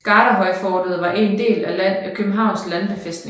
Garderhøjfortet var en del af Københavns Landbefæstning